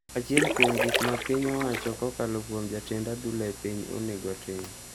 Achiel kuom gik ma piny owacho kokalo kuom jatend adhula e piny onego tim